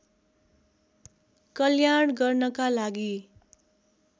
कल्याण गर्नका लागि